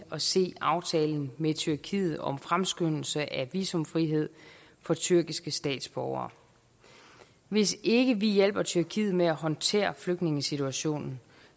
at se aftalen med tyrkiet om fremskyndelse af visumfrihed for tyrkiske statsborgere hvis ikke vi hjælper tyrkiet med at håndtere flygtningesituationen